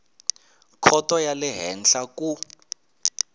khoto ya le henhla ku